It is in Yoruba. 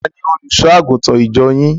Tani Olùṣọ́-àgùntàn ìjọ yín?